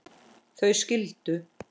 þau skildu.